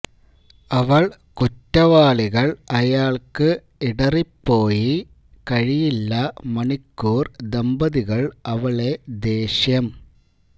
അവൾ കുറ്റവാളികൾ അയാൾക്കു ഇടറിപ്പോയി കഴിയില്ല മണിക്കൂർ ദമ്പതികൾ അവളെ ദേഷ്യം